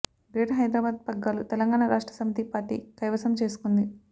greater Hyderabad పగ్గాలు Telangana Rashtra Samithi party కైవసం చేసుకుంది